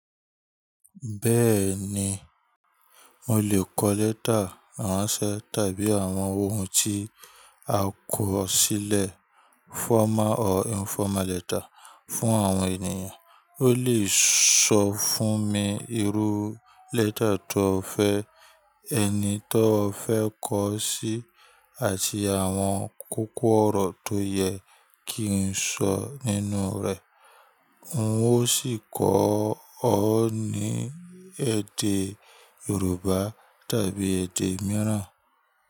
Bẹ́ẹ̀ni, mo lè kọ lẹ́tà àrànse tàbí àwọn ohun tí a kọ̀ sílẹ̀ formal or informal letter fún àwọn ènìyàn. O lè sọ fún mi irú lẹ́tà tó fẹ́, ẹni tó fẹ́ kọ̀ sí, àti àwọn kókó ọ̀rọ̀ tó yẹ kí n sọ nínú rẹ̀. N ó sì kọ ọ ní èdè Yorùbá tàbí èdè mìíràn.